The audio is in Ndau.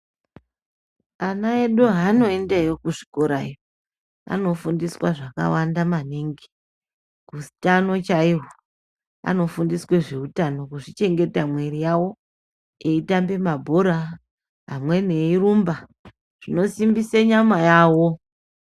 Ana edu haanoendeyo kuzvikorayo anofundiswa zvakawanda maningi utano chaihwo anofundiswe zveutano kuzvichengeta mwiri yawo eitambe mabhora amweni eirumba zvinosimbise nyama yawo.